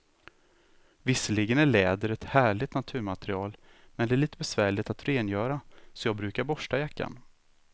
Visserligen är läder ett härligt naturmaterial, men det är lite besvärligt att rengöra, så jag brukar borsta jackan.